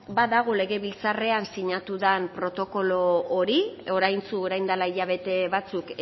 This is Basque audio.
badago legebiltzarrean sinatu dan protokolo hori oraintsu orain dela hilabete batzuk